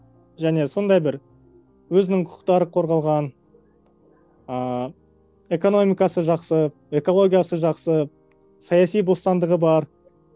және сондай бір өзінің құқықтары қорғалған ыыы экономикасы жақсы экологиясы жақсы саяси бостандығы бар